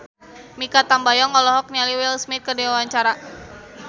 Mikha Tambayong olohok ningali Will Smith keur diwawancara